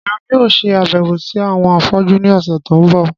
Èmi yóò ṣe àbẹ̀wò si àwọn afọ́jú ni ọ̀sẹ̀ to n bọ.